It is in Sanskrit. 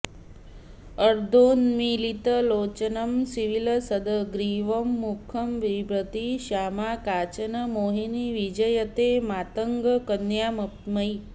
अर्धोन्मीलित लोचनं सविलसद्ग्रीवं मुखंविभ्रती श्यामा काचन मोहिनी विजयते मातङ्गकन्यामयि